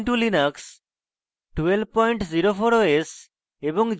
ubuntu linux 1204 os এবং